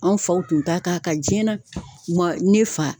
Anw faw tun ta kan jiɲɛ na, ma ne fa